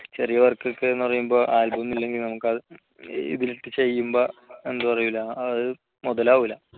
ചെറിയ work ഒക്കെ എന്നു പറയുമ്പോൾ album ഒന്നും ഇല്ലെങ്കിൽ നമുക്കത് ഇതിലിട്ട് ചെയ്യുമ്പോൾ എന്താ പറയാ മുതലാവില്ല